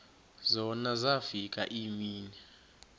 zona zafika iimini